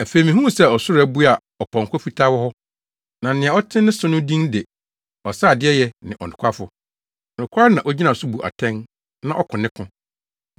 Afei mihuu sɛ ɔsoro abue a ɔpɔnkɔ fitaa wɔ hɔ. Na nea ɔte ne so no din de “Ɔseadeɛyɛ ne Ɔnokwafo.” Nokware na ogyina so bu atɛn na ɔko ne ko.